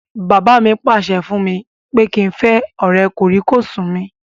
Bàbá mi pàṣẹ fún mi pé kí n fẹ́ ọ̀rẹ́ kòríkòsùn mi